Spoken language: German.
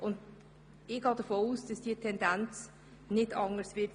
Ich gehe davon aus, dass sich diese Tendenz in den nächsten Jahren nicht ändern wird.